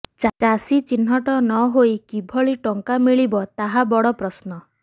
ଚାଷୀ ଚିହ୍ନଟ ନହୋଇ କିଭଳି ଟଙ୍କା ମିଳିବ ତାହା ବଡପ୍ରଶ୍ନ